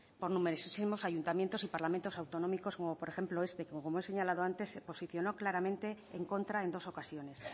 por numerosísimos ayuntamientos y parlamentos autonómicos como por ejemplo este y que como he señalado antes se posicionó claramente en contra en dos ocasiones